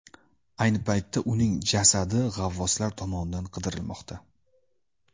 Ayni paytda uning jasadi g‘avvoslar tomonidan qidirilmoqda.